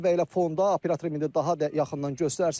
Və elə fonda operator indi daha da yaxından göstərsin.